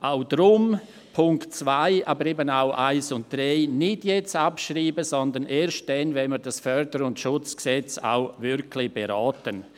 Auch deshalb: Punkt 2, aber auch die Punkte 1 und 3 nicht jetzt abschreiben, sondern erst dann, wenn wir das FSG auch wirklich beraten.